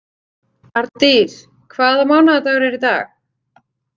Ardís, hvaða mánaðardagur er í dag?